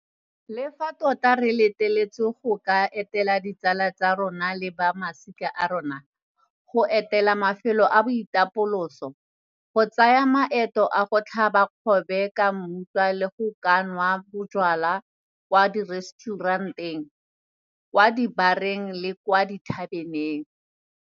Le fa tota jaanong re letleletswe go ka etela ditsala tsa rona le ba masika a rona, go etela mafelo a boitapoloso, go tsaya maeto a go tlhaba kgobe ka mmutla le go ka nwa bojalwa kwa direstšurenteng, kwa dibareng le kwa dithabeneng.